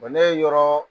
ne ye yɔrɔ